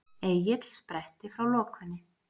Egill spretti frá lokunni.